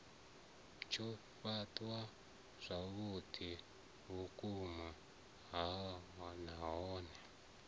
tsho fhaṱwa zwavhuḓi vhukuma nahone